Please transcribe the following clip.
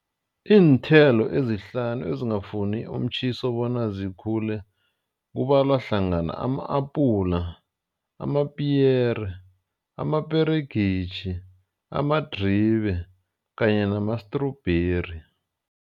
Iinthelo ezihlanu ezingafuni umtjhiso bona zikhule kubalwahlangana ama-apula, amapiyere, amaperegisi, amadribe kanye namastrubheri.